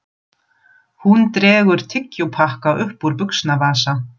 Hún dregur tyggjópakka upp úr buxnavasa.